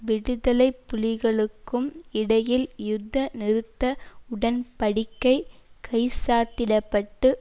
விடுதலை புலிகளுக்கும் இடையில் யுத்த நிறுத்த உடன் படிக்கை கைச்சாத்திடப்பட்டு